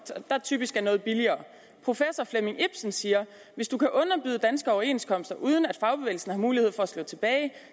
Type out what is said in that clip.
der typisk er noget billigere professor flemming ibsen siger hvis du kan underbyde danske overenskomster uden at fagbevægelsen har mulighed for at slå tilbage